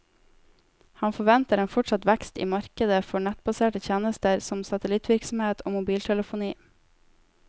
Han forventer en fortsatt vekst i markedet for nettbaserte tjenester som satellittvirksomhet og mobiltelefoni.